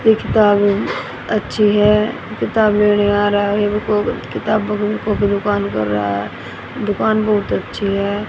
ये किताब अच्छी है किताब लेने आ रहा है किताब किताबों की दुकान कर रहा है दुकान बहुत अच्छी है।